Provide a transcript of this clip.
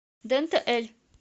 дента эль